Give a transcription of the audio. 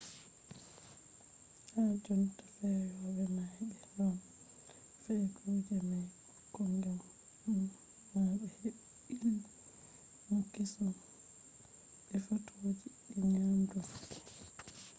ha jonta feyoɓe may ɓe ɗon fe'a kuje may ko ngam ma be heɓɓi illmu keesum be fotoji je nyaɗum fahin